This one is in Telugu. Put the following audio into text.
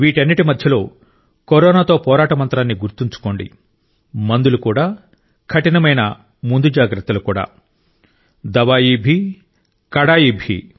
వీటన్నిటి మధ్యలో కరోనాతో పోరాట మంత్రాన్ని గుర్తుంచుకోండి మందులు కూడా కఠినమైన ముందు జాగ్రత్తలు కూడా దవాయీ భీ కడాయి భీ